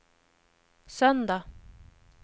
söndag